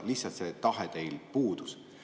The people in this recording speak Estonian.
Lihtsalt see tahe puudub.